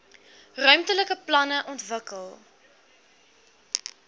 ruimtelike planne ontwikkel